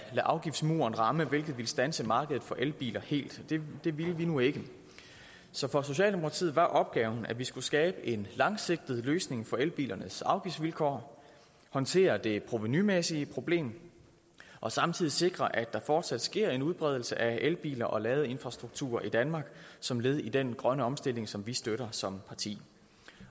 afgiftsmuren ramme hvilket ville standse markedet for elbiler helt det ville vi nu ikke så for socialdemokratiet var opgaven at vi skulle skabe en langsigtet løsning for elbilernes afgiftsvilkår håndtere det provenumæssige problem og samtidig sikre at der fortsat sker en udbredelse af elbiler og ladeinfrastruktur i danmark som led i den grønne omstilling som vi støtter som parti